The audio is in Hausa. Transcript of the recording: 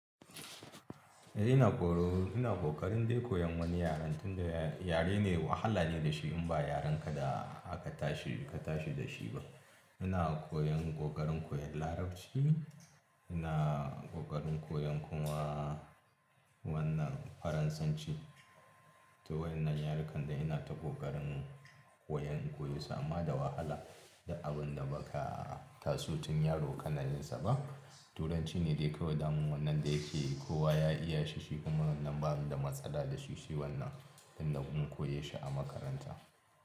Eh ina ƙoro, ina ƙoƙarin dai koyon wani yaren tunda yare ne wahala ne da shi in ba yaren ka da aka tashi ka tashi da shi ba. Ina koyon ƙoƙarin koyan Larabci, ina ƙoƙarin koyan kuma wannan Faransanci. To wannan yarekan da ina ta ƙoƙarin koyan koyin sama da wahala da abun da ba ka tasu tun yaro ƙananin sa ba. Turanci ne dai kawai daman wannan da yake kowa ya iya shi shi kuma wannan bani da matsala da shi shi wannan tun da kun koya shi a makaranta.